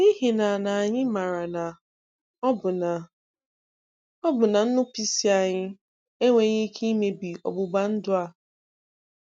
N'ihi na anyị maara na ọbụna na ọbụna nnupụisi anyị enweghị ike imebi ọgbụgba ndụ a.